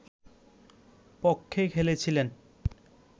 পক্ষে খেলেছিলেন